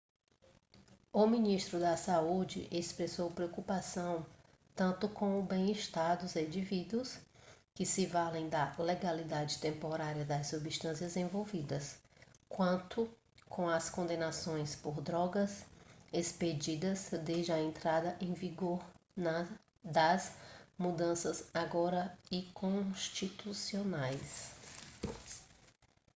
o ministro da saúde expressou preocupação tanto com o bem-estar dos indivíduos que se valem da legalidade temporária das substâncias envolvidas quanto com as condenações por drogas expedidas desde a entrada em vigor das mudanças agora inconstitucionais